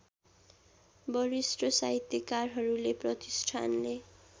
वरिष्ठ साहित्यकारहरूले प्रतिष्ठानले